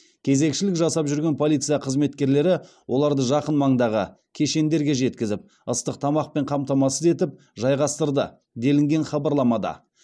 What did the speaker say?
кезекшілік жасап жүрген полиция қызметкерлері оларды жақын маңдағы кешендерге жеткізіп ыстық тамақпен қамтамасыз етіп жайғастырды делінген хабарламада